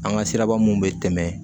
An ka siraba mun be tɛmɛ